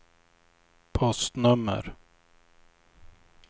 postnummer